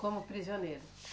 Como prisioneiro?